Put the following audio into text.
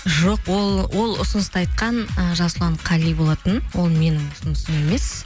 жоқ ол ұсынысты айтқан ы жасұлан қали болатын ол менің ұсынысым емес